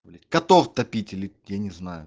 блять котов топить или я не знаю